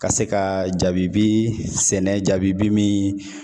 Ka se ka jabibi sɛnɛ jabibi min